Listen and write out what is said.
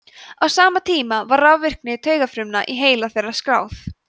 á sama tíma var rafvirkni taugafruma í heila þeirra skráð